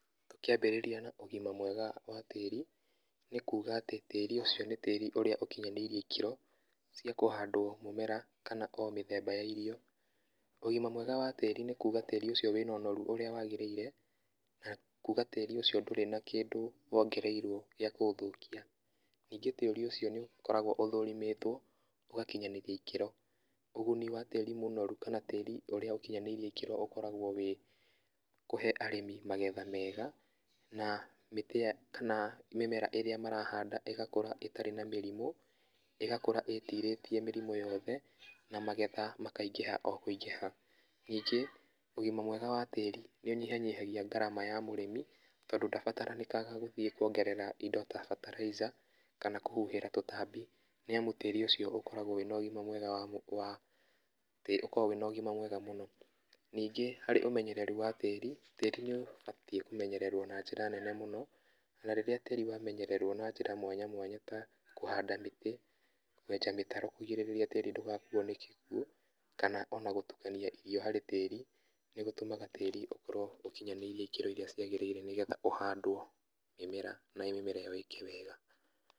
Tũkĩambĩrĩria na ũgima mwega wa tĩri, nĩ kuga atĩ tĩri ũcio nĩ tĩri ũrĩa ũkinyanĩirie ikĩro, cia kũhandwo mĩmera kana o mĩthemba ya irio, ũgima mwega wa tĩri nĩ kuga atĩ tĩri ũcio wĩna onoru ũrĩa wagĩrĩire, na kuga tĩri ũcio ndũrĩ na kĩndũ wongereirwo gĩa kũũthũkia. Ningĩ tĩri ũcio nĩ ũkoragwo ũthũrimĩtwo ũgakinyanĩria ikĩro, ũguni wa tĩri mũnoru kana tĩri ũrĩa ũkinyanĩirie ikĩro ũkoragwo wĩ kũhe arĩmi magetha mega, na mĩtĩ ya, kana mĩmera ĩrĩa marahanda ĩgakũra ĩtarĩ na mĩrimo, ĩgakũra ĩtirĩtie mĩrimũ yothe, na magetha makaingĩha o kwĩingĩha. Ningĩ ũgima mwega wa tĩri nĩ ũnyihanyihagia ngarama ya mũrĩmi tondũ ndabatarĩnĩkaga gũthiĩ kuongerera indo ta ferterizer, kana kũhuhĩra tũtambi, nĩ amu tĩri ũcio ũkoragwo wĩna ũgima mwega wa, wa tĩri ũkoragwo wĩna ũgima mwega mũno. Ningĩ harĩ ũmenyereri wa tĩri, tĩri nĩ ũbatiĩ kũmenyererwo na njĩra njega mũno, na rĩrĩa tĩri wamenyererwo na njĩra mwanya mwanya ta kũhanda mĩtĩ, kwenja mĩtaro kũgirĩrĩria tĩri ndũgakuo nĩ kĩguo, kana ona gũtukania irio harĩ tĩri, nĩ gũtũmaga tĩri ũkorwo ũkinyanĩirie ikĩro iria cikinyanĩirie nĩgetha ũhandwo mĩmera na mĩmera ĩyo ĩke wega.